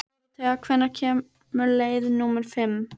Dóróthea, hvenær kemur leið númer fimm?